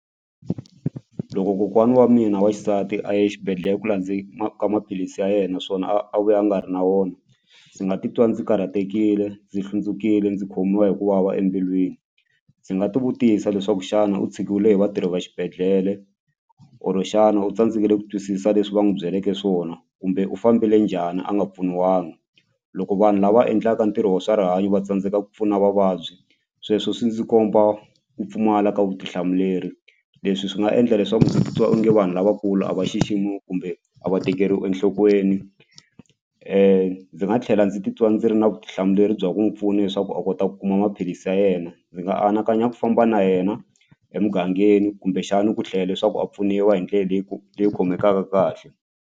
Loko kokwana wa mina wa xisati a ye exibedhlele ku ka maphilisi ya yena naswona a a vuya a nga ri na wona ndzi nga titwa ndzi karhatekile ndzi hlundzukile ndzi khomiwa hi ku vava embilwini ndzi nga ti vutisa leswaku xana u tshikiwile hi vatirhi va xibedhlele or xana u tsandzekile ku twisisa leswi va n'wi byeleke swona kumbe u fambile njhani a nga pfuniwanga loko vanhu lava endlaka ntirho wa swa rihanyo va tsandzeka ku pfuna vavabyi sweswo swi ndzi komba ku pfumala ka vutihlamuleri leswi swi nga endla leswaku ndzi titwa onge vanhu lavakulu a va xiximiwi kumbe a va tekeriwi enhlokweni ndzi nga tlhela ndzi titwa ndzi ri na vutihlamuleri bya ku n'wi pfuna leswaku a kota ku kuma maphilisi ya yena ndzi nga anakanya ku famba na yena emugangeni kumbexani ku tlhela leswaku a pfuniwa hi ndlela leyi leyi khomekanga kahle.